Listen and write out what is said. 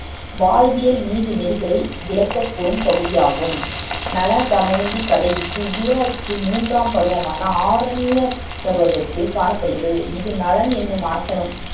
வாழ்வியல் நீதிநெறிகளை விளக்கக் கூறும் பகுதி ஆகும் நளன், தமயந்தி கதை இதிகாசத்தின் மூன்றாம் பருவமான ஆரண்யபர்வகத்தில் காணப்படுகின்றது இது நளன் என்னும் அரசனும்